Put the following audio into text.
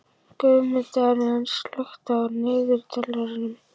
Guðmundína, slökktu á niðurteljaranum.